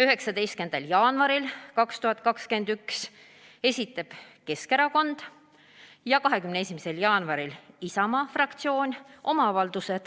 19. jaanuaril 2021 esitas Keskerakond ja 21. jaanuaril Isamaa fraktsioon oma avalduse,